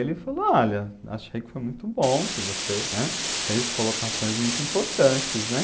Ele falou, olha, achei que foi muito bom que você, né, fez colocações muito importantes, né.